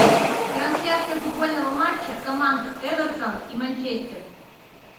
трансляция футбольного матча команд эвертон и манчестер